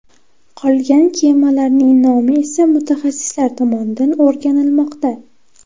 Qolgan kemalarning nomi esa mutaxassislar tomonidan o‘rganilmoqda.